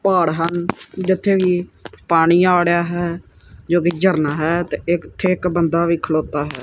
ਪਹਾੜ ਹਨ ਜਿੱਥੇ ਕਿ ਪਾਣੀ ਆ ੜਿਹਾ ਹੈ ਜੋ ਕਿ ਝਰਨਾ ਹੈ ਤੇ ਇੱਕ ਇੱਥੇ ਬੰਦਾ ਵੀ ਖਲੋਤਾ ਹੈ।